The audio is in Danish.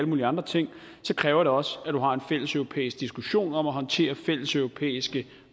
mulige andre ting så kræver det også at du har en fælleseuropæisk diskussion om at håndtere fælleseuropæiske